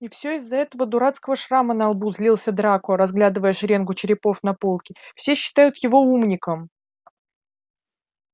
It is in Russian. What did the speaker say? и всё из-за этого дурацкого шрама на лбу злился драко разглядывая шеренгу черепов на полке все считают его умником